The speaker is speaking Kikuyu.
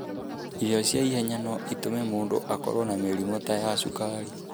Irio cia ihenya no itũme mũndũ akorũo na mĩrimũ ta ya cukari.